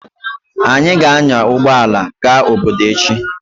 Anyị ga-anya ụgbọ ala gaa obodo echi.